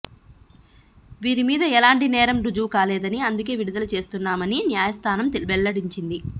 వీరి మీద ఎలాంటి నేరం రుజువు కాలేదని అందుకే విడుదల చేస్తున్నామని న్యాయస్థానం వెల్లడించింది